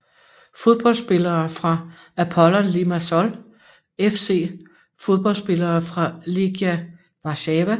Fodboldspillere fra Apollon Limassol FC Fodboldspillere fra Legia Warszawa